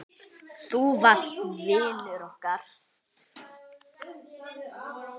Þú varst vinur okkar.